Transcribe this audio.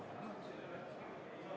V a h e a e g